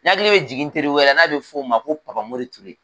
Ne hakili be jigin n teri wɛrɛ la n'a be f'o ma ko Papa Mori Ture.